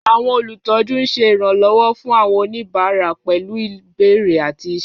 Àwọn olùtọ́jú ń ṣe ìrànlọ́wọ́ fún àwọn oníbàárà pẹ̀lú ìbéèrè àti iṣẹ́.